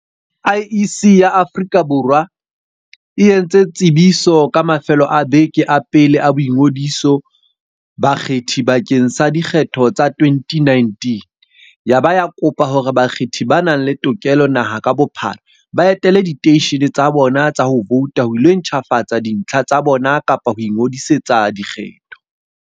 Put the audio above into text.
IEC ya Aforika Bor wa e e ntse tsebiso ka mafelo a beke a pele a boingodiso ba bakgethi bakeng sa dikgetho tsa 2019 yaba ya kopa hore bakgethi ba nang le tokelo naha ka bophara, ba etele diteishene tsa bona tsa ho vouta ho ilo ntjhafatsa dintlha tsa bona kapa ho ingodisetsa dikgetho.